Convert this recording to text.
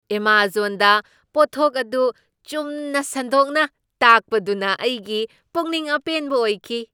ꯑꯦꯃꯖꯣꯟꯗ ꯄꯣꯠꯊꯣꯛ ꯑꯗꯨ ꯆꯨꯝꯅ ꯁꯟꯗꯣꯛꯅ ꯇꯥꯛꯄꯗꯨꯅ ꯑꯩꯒꯤ ꯄꯨꯛꯅꯤꯡ ꯑꯄꯦꯟꯕ ꯑꯣꯏꯈꯤ ꯫